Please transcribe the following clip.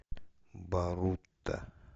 барута